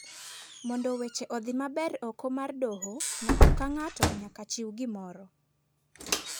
Mondo weche odhi maber oko mar doho , ng'ato ka ng'ato nyaka chiw gimoro.